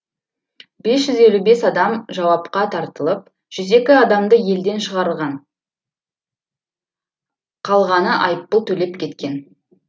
бес жүз елу бес адам жауапқа тартылып жүз екі адамды елден шығарылған қалғаны айыппұл төлеп кеткен